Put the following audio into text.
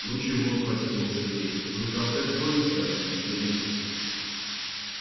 ну чего спросил его сергей мы на комтек тронемся когда-нибудь или нет